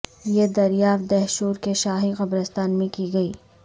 یہ دریافت دہشور کے شاہی قبرستان میں کی گئی